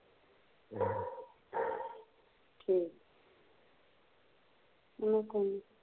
ਠੀਕ ਆਹ ਕੋਣ